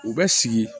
U bɛ sigi